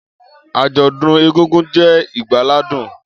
Ajodun egungun, je igbaladun.